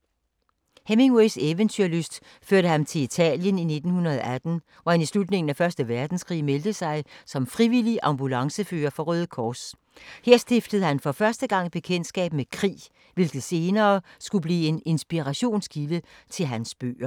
Hemingways eventyrlyst førte ham til Italien i 1918, hvor han i slutningen af første verdenskrig meldte sig som frivillig ambulancefører for Røde Kors. Her stiftede han for første gang bekendtskab med krig, hvilket senere skulle blive en inspirationskilde til hans bøger.